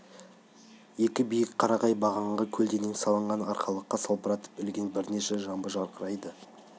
екі биік қарағай бағанға көлденең салынған арқалыққа салбыратып ілген бірнеше жамбы жарқырайды